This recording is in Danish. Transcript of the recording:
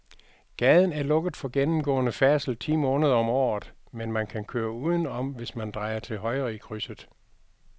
Gaden er lukket for gennemgående færdsel ti måneder om året, men man kan køre udenom, hvis man drejer til højre i krydset.